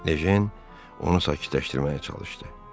Ejen onu sakitləşdirməyə çalışdı.